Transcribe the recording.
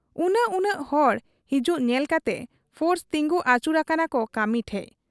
ᱩᱱᱟᱹᱜ ᱩᱱᱟᱹᱜ ᱦᱚᱲ ᱦᱤᱡᱩᱜ ᱧᱮᱞ ᱠᱟᱛᱮ ᱯᱷᱳᱨᱥ ᱛᱤᱸᱜᱩ ᱟᱹᱪᱩᱨ ᱟᱠᱟᱱᱟᱠᱚ ᱠᱟᱹᱢᱤ ᱴᱷᱮᱫ ᱾